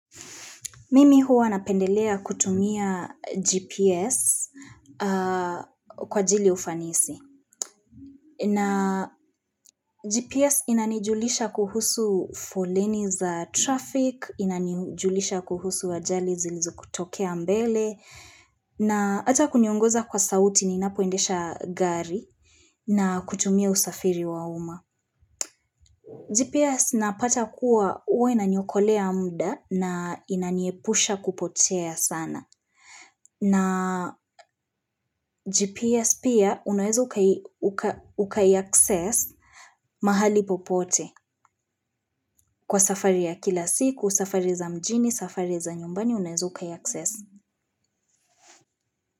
Mimi huwa napendelea kutumia GPS kwa ajili ufanisi na GPS inanijulisha kuhusu foleni za traffic, inanijulisha kuhusu ajali zilizo kutokea mbele na hata kuniongoza kwa sauti ninapoendesha gari na kutumia usafiri wa uma. GPS napata kuwa uwa inaniokolea muda na inaniepusha kupotea sana. Na GPS pia unaweza ukai-access mahali popote kwa safari ya kila siku, safari za mjini, safari za nyumbani unaweza ukai-access.